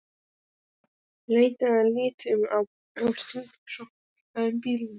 Leitað að lituðum að hringsóla um í bílum.